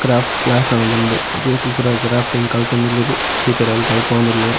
Craft class ಆವೊಂದುಂಡು ಜೋಕುಲು ಪೂರ ಕ್ರಾಫ್ಟಿಂಗ್ ಕಲ್ತೊಂದುಲ್ಲೆರ್ ಟೀಚರ್ ಅವ್ಲು ಕಲ್ಪವೊಂದುಲ್ಲೆರ್.